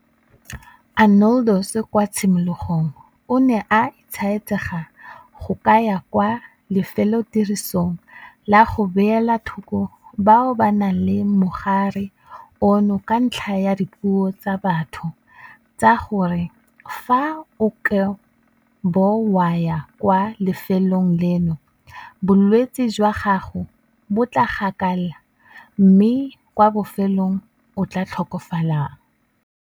Arnoldus kwa tshimologong o ne a etsaetsega go ka ya kwa lefelotirisong la go beela thoko bao ba nang le mogare ono ka ntlha ya dipuo tsa batho tsa gore fa o ka bo wa ya kwa lefelong leno bolwetse jwa gago bo tla gakala mme kwa bofelong o tla tlhokafalang.